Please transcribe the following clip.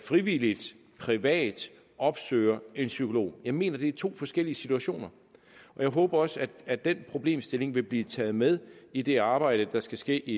frivilligt privat opsøger en psykolog jeg mener det er to forskellige situationer og jeg håber også at den problemstilling vil blive taget med i det arbejde der skal ske i